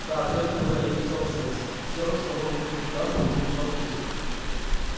да все это была их собственность все что мог охватить глаз принадлежало им